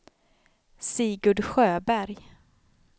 Sigurd Sjöberg